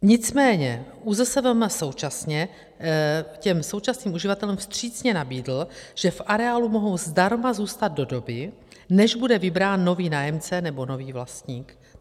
Nicméně ÚZSVM současně těm současným uživatelům vstřícně nabídl, že v areálu mohou zdarma zůstat do doby, než bude vybrán nový nájemce nebo nový vlastník.